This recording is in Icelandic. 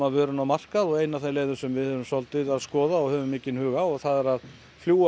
vörunni á markað og ein af þeim leiðum sem við erum að skoða og höfum mikinn hug á það er að